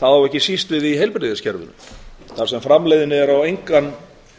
það á ekki síst við í heilbrigðiskerfinu þar sem framleiðnin er á engan